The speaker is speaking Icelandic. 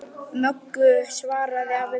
Möggu, svaraði afi blindi.